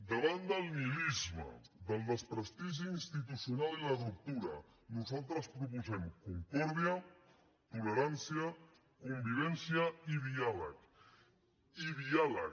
davant del nihilisme del desprestigi institucional i la ruptura nosaltres proposem concòrdia tolerància convivència i diàleg i diàleg